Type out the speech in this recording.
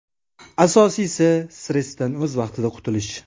Asosiysi, stressdan o‘z vaqtida qutulish.